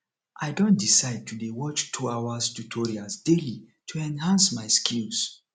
i don decide to dey watch 2 hours tutorials daily to enhance my skills